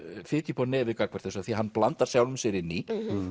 fitja upp á nefið gagnvart þessu af því að hann blandar sjálfum sér inn í